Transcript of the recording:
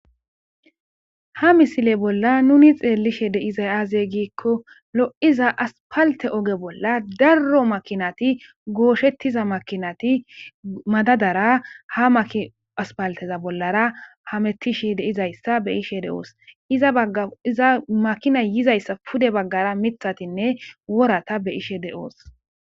ha misile bolla nuni xeellishe deizay azey giikko lo7iza aspalte oge bolla darro makinati gooshettiza makinati madadara ha maaspalteza bollara hamettishi deizayssa be ishe de7oos izaaiza makina yizayssa pude baggara mithatinne worata be7ishe de7oos.